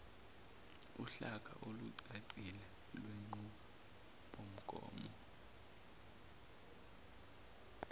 uhlaka olucacile lwenqubomgomo